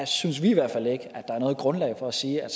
synes vi i hvert fald ikke at er noget grundlag for at sige at